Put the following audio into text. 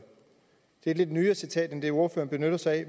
det er et lidt nyere citat end det ordføreren benytter sig af